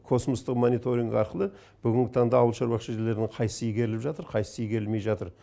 космостық мониторинг арқылы бүгінгі таңда ауылшаруашылық жерлерінің қайсысы игеріліп жатыр қайсысы игерілмей жатыр